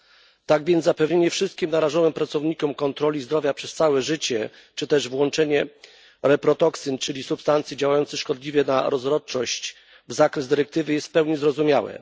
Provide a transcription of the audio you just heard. Dlatego zapewnienie wszystkim narażonym pracownikom kontroli zdrowia przez całe życie czy też włączenie reprotoksyn, czyli substancji działających szkodliwie na rozrodczość, w zakres dyrektywy jest w pełni zrozumiałe.